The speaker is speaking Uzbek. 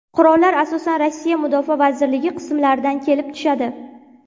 Qurollar asosan Rossiya Mudofaa vazirligi qismlaridan kelib tushadi.